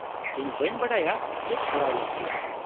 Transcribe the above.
-ᱤᱧ ᱵᱟᱹᱧ ᱵᱟᱰᱟᱭᱟ ᱪᱮᱫ ᱠᱚᱨᱟᱣ ᱞᱟᱹᱠᱛᱤ ᱾